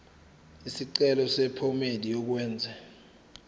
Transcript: isicelo sephomedi yokwenze